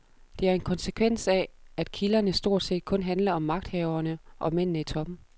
Det er en konsekvens af, at kilderne stort set kun handler om magthaverne og mændene i toppen.